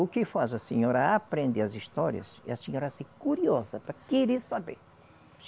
O que faz a senhora aprender as histórias é a senhora ser curiosa, querer saber.